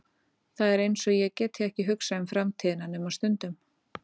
Það er einsog ég geti ekki hugsað um framtíðina nema stundum.